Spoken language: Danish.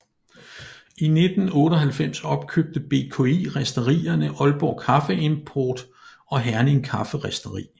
I 1998 opkøbte BKI risterierne Aalborg Kaffeimport og Herning Kafferisteri